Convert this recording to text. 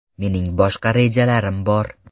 Mening boshqa rejalarim bor.